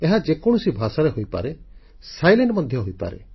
ଏହା ଯେକୌଣସି ଭାଷାରେ ହୋଇପାରେ ନିର୍ବାକ ସାଇଲେଣ୍ଟ ଚିତ୍ର ମଧ୍ୟ ହୋଇପାରେ